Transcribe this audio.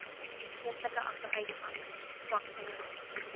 geestelike agteruitgang swaksinnigheid